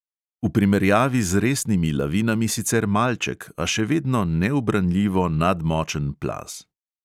V primerjavi z resnimi lavinami sicer malček, a še vedno neubranljivo nadmočen plaz.